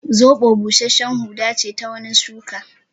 Zoɓo busashshen huda ce ta wani shuka